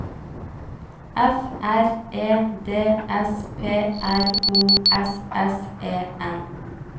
F R E D S P R O S E S S E N